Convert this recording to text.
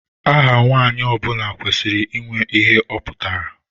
Aha Nwa nwanyị ọbula kwesịrị ịnwe ihe ọ pụtara.